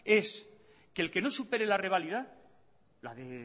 es que el que no supere la reválida la de